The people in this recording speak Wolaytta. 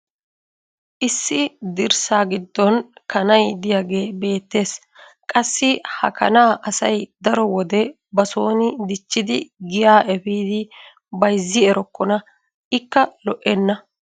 Issi dirssa giddon kanay diyaagee beetees. Qassi ha kanaa asay daro wode basoni dichchidi giyaa efiidi bayzzi errokonna. Ikka lo'enna.